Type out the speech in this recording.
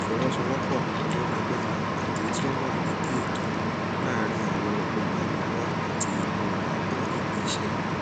ìfọsowósowópò tó lágbára àti tí ó wà létòlétò láàárín àwọn olùrànlówó láti inú àwọn ilé iṣé